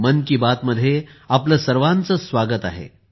मन की बात मध्ये आपले सर्वांचे स्वागत आहे